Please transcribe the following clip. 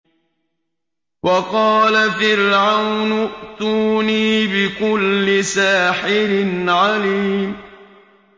وَقَالَ فِرْعَوْنُ ائْتُونِي بِكُلِّ سَاحِرٍ عَلِيمٍ